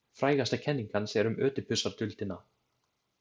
Frægasta kenning hans er um Ödipusarduldina.